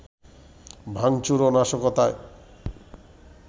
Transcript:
ভাঙচুর ও নাশকতায়